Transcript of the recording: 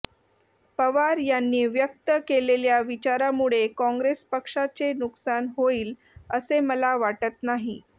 पवार यांनी व्यक्त केलेल्या विचारामुळे काँग्रेस पक्षाचे नुकसान होईल असे मला वाटत नाही